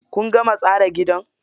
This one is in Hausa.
Kun gama tsara gidan?